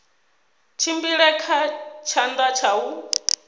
tshimbile kha tshanḓa tsha u